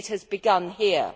It has begun here.